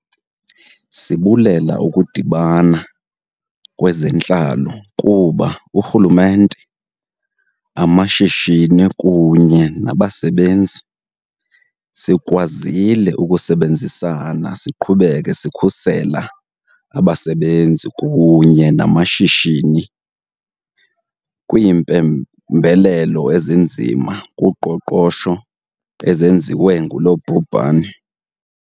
Sibulela ukudibana kweze ntlalo kuba urhulumente, [ ]amashi shini kunye nabasebenzi, sikwa zile ukusebenzisana siqhubeke sikhusela abasebenzi kunye namashishini kwiimpembelelo ezinzima kuqoqosho ezenziwe ngulo bhubhane.